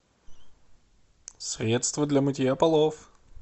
средство для мытья полов